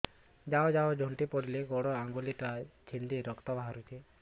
ଯାଉ ଯାଉ ଝୁଣ୍ଟି ପଡ଼ିଲି ଗୋଡ଼ ଆଂଗୁଳିଟା ଛିଣ୍ଡି ରକ୍ତ ବାହାରୁଚି